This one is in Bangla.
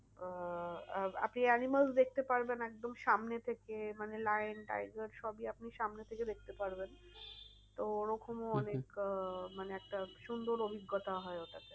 আহ আপনি animals দেখতে পারবেন একদম সামনে থেকে মানে lion tiger সবই আপনি সামনে থেকে দেখতে পারবেন। তো ওরকমও অনেক আহ মানে একটা সুন্দর অভিজ্ঞতা হয় ওটাতে।